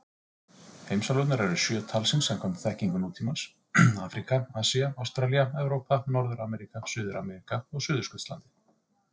Heimsálfurnar eru sjö talsins samkvæmt þekkingu nútímans: Afríka, Asía, Ástralía, Evrópa, Norður-Ameríka, Suður-Ameríka og Suðurskautslandið.